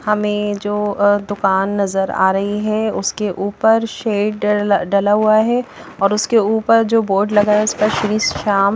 हमें जो यह दुकान नजर आ रही है उसके ऊपर शेड डला हुआ है और उसके ऊपर जो बोर्ड लगा है उस पर श्री श्याम --